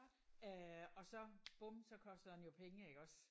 Øh og så bum så koster den jo penge iggås